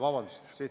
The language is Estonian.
Vabandust!